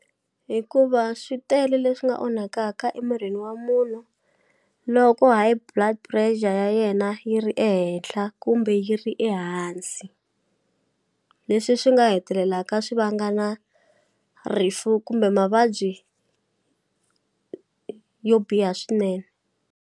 Hikuva swi tele leswi nga onhakaka emirini wa munhu loko High Blood Pressure ya yena yi ri ehenhla kumbe yi ri ehansi leswi swi nga hetelelaka swi vanga na rifu kumbe mavabyi yo biha swinene.